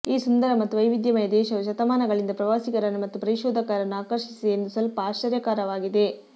ಈ ಸುಂದರ ಮತ್ತು ವೈವಿಧ್ಯಮಯ ದೇಶವು ಶತಮಾನಗಳಿಂದ ಪ್ರವಾಸಿಗರನ್ನು ಮತ್ತು ಪರಿಶೋಧಕರನ್ನು ಆಕರ್ಷಿಸಿದೆ ಎಂದು ಸ್ವಲ್ಪ ಆಶ್ಚರ್ಯಕರವಾಗಿದೆ